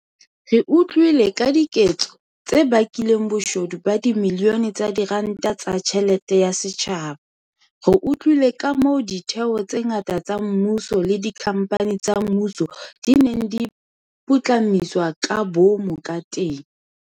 Re utlwile ka diketso tse bakileng boshodu ba dibilione tsa diranta tsa tjhelete ya setjhaba. Re utlwile kamoo ditheo tse ngata tsa mmuso le dikhamphani tsa mmuso di neng di putlamiswa ka boomo kateng.